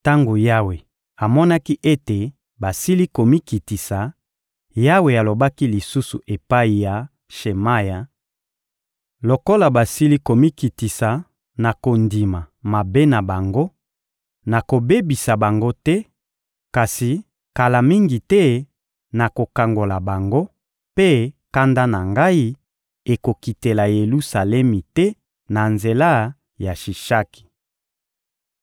Tango Yawe amonaki ete basili komikitisa, Yawe alobaki lisusu epai ya Shemaya: — Lokola basili komikitisa na kondima mabe na bango, nakobebisa bango te; kasi kala mingi te, nakokangola bango, mpe kanda na Ngai ekokitela Yelusalemi te na nzela ya Shishaki.